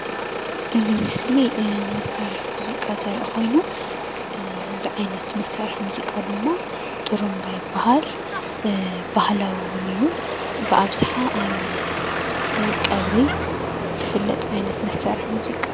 እዚ ምስሊ መሳርሒ ሙዚቃ ዘርኢ ኮይኑ እዚ ዓይነት መሳርሒ ሙዚቃ ድማ ጥሩምባ ይባሃል ባህላዊ እውን እዩ ብኣብዛሓ ኣብ ቀብሪ ዝፍለጥ ዓይነት መሳርሒ ሙዚቃ እዩ፡፡